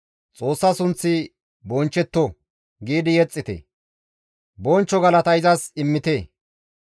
«Xoossa sunththi bonchchetto!» giidi yexxite; bonchcho galata izas immite.